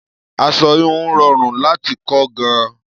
Aṣọ híhun rọrùn láti kọ́ gan-an.